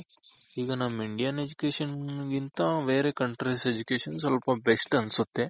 ಈಗ ನಮ್ Indian education ಗಿಂತ ಬೇರೆ countries Education ಸ್ವಲ್ಪ best ಅನ್ಸುತ್ತೆ